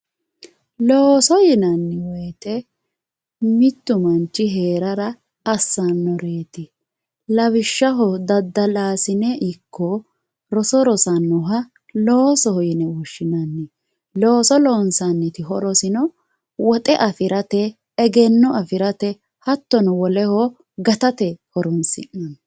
looso yinanni woyiite mittu manch heerara assanoreeti lawishshaho daddalaasine ikko roso rosannoha loosoho yine woshshinanni looso loonsaniti horosino woxe afirate egenno afirate hattono woleho gatate horonsi'neemo